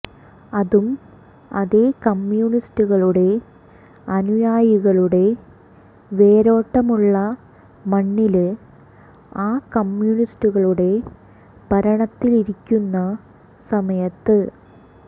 അതും അതേ കമ്മ്യൂണിസ്റ്റുകളുടെ അനുയായികളുടെ വേരോട്ടമുള്ള മണ്ണില് ആ കമ്മ്യൂണിസ്റ്റുകളുടെ ഭരണത്തിലിരിക്കുന്ന സമയത്ത്